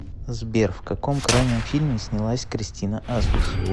сбер в каком крайнем фильме снялась кристина асмус